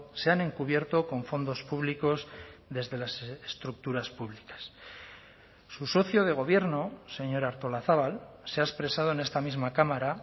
se han encubierto con fondos públicos desde las estructuras públicas su socio de gobierno señora artolazabal se ha expresado en esta misma cámara